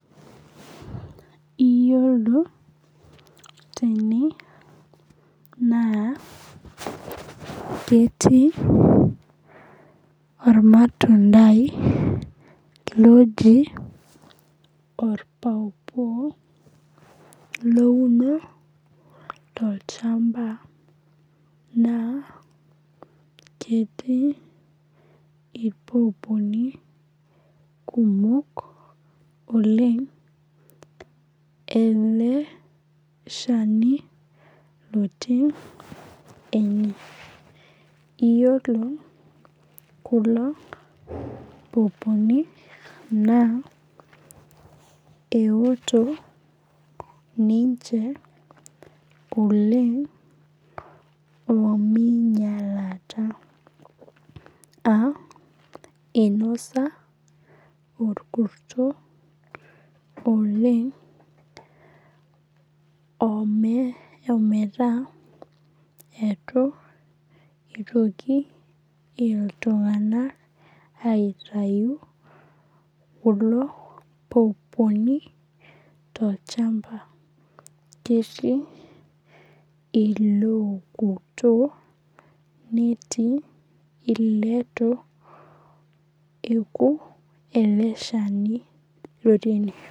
Iyiolo tene naa ketii olmatundai loji olpaipai louno tolchampa naa ketii ilpaipaini kumok oleng' ele shani otii ena. Iyiolo kulo paipaini naa keoto ninche oleng' omeinyalata, aa einosa olkurto oleng' ometaa eitu eitoki iltung'anak aitayu kulo paipaini tolchamba. Ketii ilootokutuo netii ileitu eoku ele shani lotii ene.